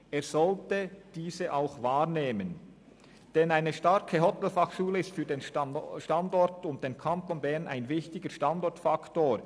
Diese sollte er auch wahrnehmen, denn eine starke Hotelfachschule ist für den Kanton Bern ein wichtiger Standortfaktor.